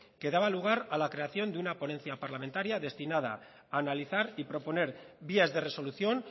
que daba lugar a la creación de una ponencia parlamentaria destinada a analizar y proponer vías de resolución